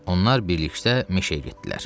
Onlar birlikdə meşəyə getdilər.